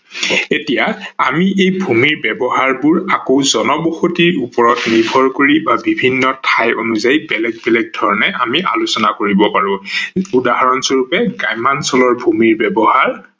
এহিয়া আমি এই ভূমিৰ ব্যৱহাৰবোৰ আকৌ জনবসতিৰ ওপৰত নিৰ্ভৰ কৰি বা বিভিন্ন ঠাই অনুযায়ী বেলেগ বেলেগ ধৰনে আমি আলোচনা কৰিব পাৰো। উদহৰন স্বৰূপে গ্ৰাম্যাঞ্চলৰ ভূমিৰ ব্যৱহাৰ